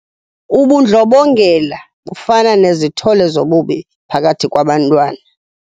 Ubundlobongela bufana nezithole zobubi phakathi kwabantwana.